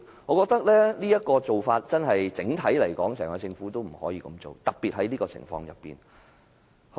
我認為政府這種做法，整體來說是不可取的，在這種情況下尤甚。